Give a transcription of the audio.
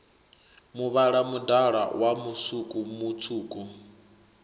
muvhala mudala wa musuku mutswuku